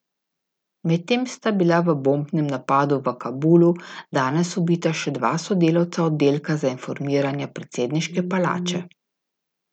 Medtem sta bila v bombnem napadu v Kabulu danes ubita še dva sodelavca oddelka za informiranja predsedniške palače.